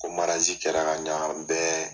Ko kɛra ka ɲan bɛɛ